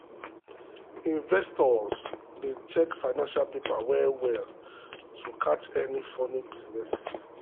investors dey check financial papers well well to catch any funny business.